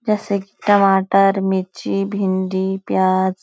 जैसे कि टमाटर मिर्ची भींडी प्याज--